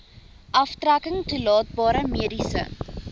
aftrekking toelaatbare mediese